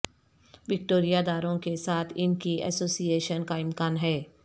Victoria داروں کے ساتھ ان کی ایسوسی ایشن کا امکان ہے